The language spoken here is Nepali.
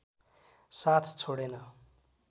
साथ छोडेन